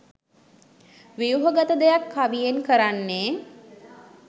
ව්‍යුහගත දෙයක් කවියෙන් කරන්නේ.